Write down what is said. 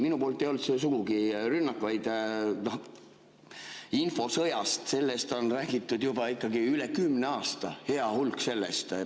Ei, see ei olnud minu poolt sugugi rünnak, vaid infosõjast on räägitud juba üle kümne aasta, hea hulk sellest ajast.